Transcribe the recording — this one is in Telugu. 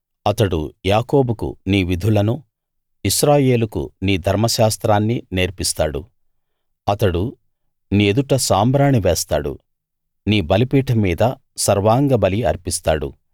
అతడు యాకోబుకు నీ విధులనూ ఇశ్రాయేలుకు నీ ధర్మశాస్త్రాన్నీ నేర్పిస్తాడు అతడు నీ ఎదుట సాంబ్రాణి వేస్తాడు నీ బలిపీఠం మీద సర్వాంగబలి అర్పిస్తాడు